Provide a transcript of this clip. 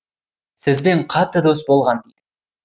сізбен қатты дос болған дейді